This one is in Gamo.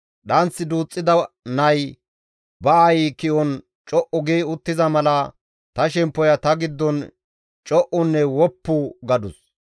Dhanth duuxxida nay ba aayi ki7on co7u gi uttiza mala, ta shemppoya ta giddon co7unne woppu gadus.